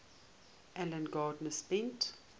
alan garner spent